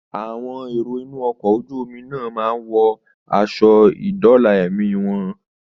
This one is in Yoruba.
Àwọn èrò inú ọkọ̀ ojú omi náà máa wọ aṣọ ìdóòlà ẹ̀mí wọn